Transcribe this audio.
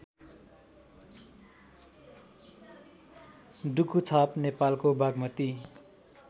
डुकुछाप नेपालको बागमती